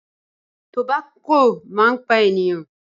Tobacco máa ń pa ènìyàn.